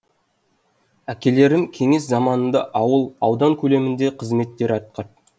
әкелерім кеңес заманында ауыл аудан көлемінде қызметтер атқарды